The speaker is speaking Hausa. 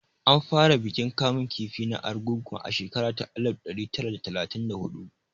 An fara bikin kamun kifi na Argungu a shekara ta alif ɗari tari da talatin da huɗu